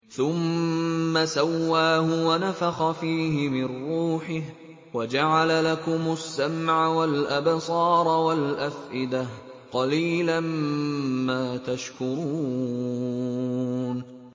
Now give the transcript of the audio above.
ثُمَّ سَوَّاهُ وَنَفَخَ فِيهِ مِن رُّوحِهِ ۖ وَجَعَلَ لَكُمُ السَّمْعَ وَالْأَبْصَارَ وَالْأَفْئِدَةَ ۚ قَلِيلًا مَّا تَشْكُرُونَ